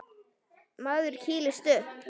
Maður kýlist upp.